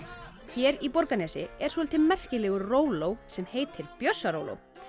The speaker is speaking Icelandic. hér í Borgarnesi er soldið merkilegur róló sem heitir Bjössaróló